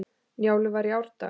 Njálu var í árdaga.